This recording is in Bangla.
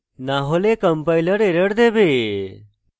না হলে compiler error দেবে